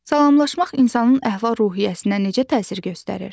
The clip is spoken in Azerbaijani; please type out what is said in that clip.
Salamlaşmaq insanın əhval-ruhiyyəsinə necə təsir göstərir?